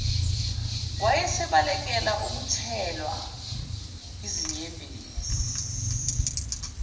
wayesebalekela ukuthelwa yizinyembezi